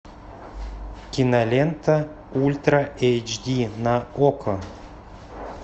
кинолента ультра эйч ди на окко